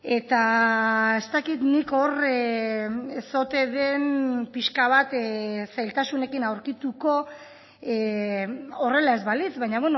eta ez dakit nik hor ez ote den pixka bat zailtasunekin aurkituko horrela ez balitz baina